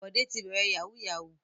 Bọ̀dé ti bẹ̀rẹ̀ yahoo yahoo.